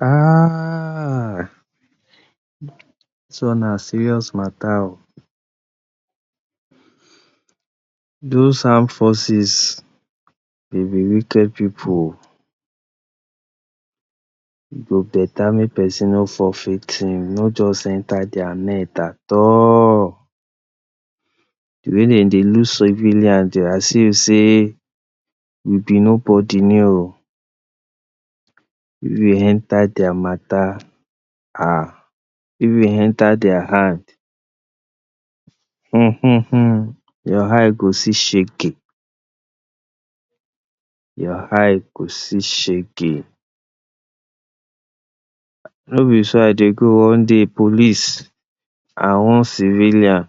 um dis one na serious matter oh does arm forces dem be wicked pipu e go better make person no fall victim, no just enter there net at all. De way dey dey look civilians as if sey you be nobody ni oh, if you enter their matter um if you enter their hand um your eyes go see shege, your eyes go see shege no be so I dey go one day police and one civilian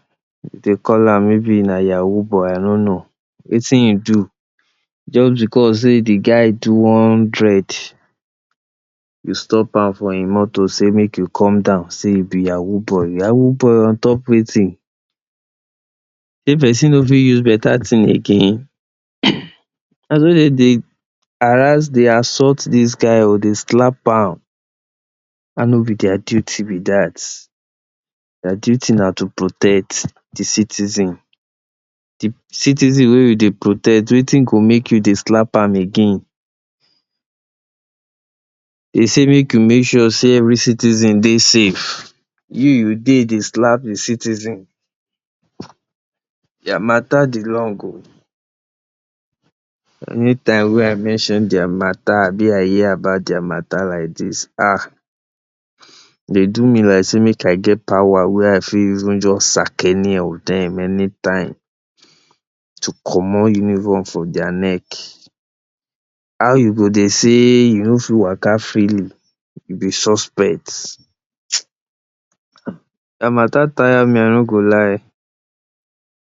dey call maybe sey na yahoo boy I no know wetin e do jus because de guy do one dread, dem stop am for e motor say make e come down say e be yahoo boy, yahoo boy on top wetin! Sey person no fit use better ting again naso dem dey harass dey assault dis guy dey slap am and no be their duty be dat, their duty na to protect de citizens de citizen wey you dey protect wetin go make you dey slap am again. Dem say make you make sure sey every citizen dey safe you you dey dey slap de citizen, dia matter dey long oh. Anytime wey I reason their matter abi I hear about their matter like dis um. E dey do me like sey make I get power wey I fit even jus sack any of dem anytime to comot uniform from their neck. How you go dey say you no fit waka freely you be suspect their matter tire me I no go lie.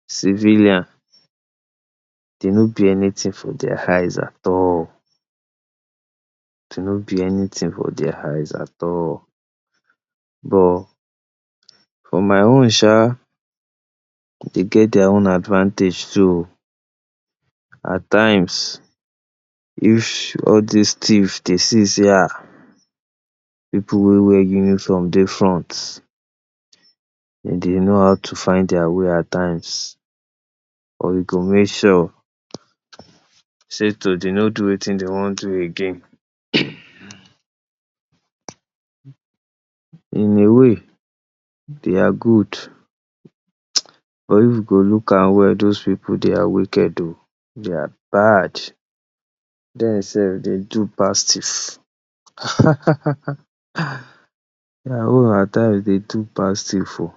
Civilian dem no be anything for their eyes at all. Dem no be anything for their eyes at all but for my own sha dem get their own advantage too at times if all dis thieves dey see sey um pipu wey wear uniform dey front, den dey know how to find their way at times or e go make sure sey to dem no do wetin dem one do again. In a way dey are good um but if we go look am well does pipu dey are wicked oh dey are bad. Dem self dey do pass theif at times dem do pass thief oh.